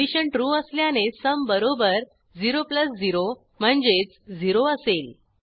condition true असल्याने sum बरोबर 00 म्हणजेच 0असेल